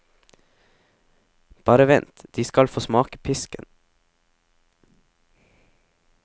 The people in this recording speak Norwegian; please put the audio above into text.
Bare vent, de skal få smake pisken.